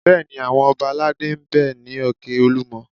Bẹ́ẹ̀ni, àwọn ọba aládé ń bẹ ní òkè Olúmọ